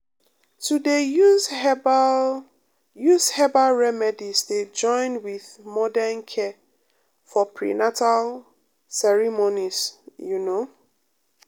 to dey um use herbal um use herbal remedies dey join with um modern care for prenatal ceremonies you know um